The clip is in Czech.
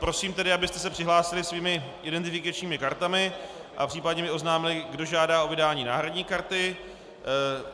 Prosím tedy, abyste se přihlásili svými identifikačními kartami a případně mi oznámili, kdo žádá o vydání náhradní karty.